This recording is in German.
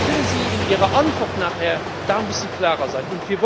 Vielleicht können Sie in Ihrer Antwort nachher darin ein bisschen klarer sein.